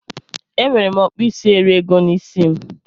Enwere m okpuisieriego n'isi m